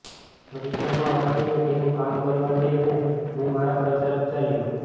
પરિક્રમાવાસીને તેનું કામ કરવા દઈને હું મારા ઘર તરફ ચાલ્યો